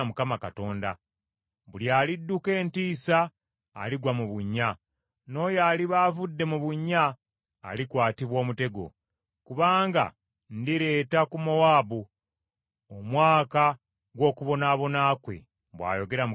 “Buli alidduka entiisa aligwa mu bunnya, n’oyo aliba avudde mu bunnya alikwatibwa omutego; kubanga ndireeta ku Mowaabu omwaka gw’okubonaabona kwe,” bw’ayogera Mukama Katonda.